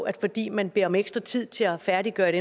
at fordi man beder om ekstra tid til at færdiggøre et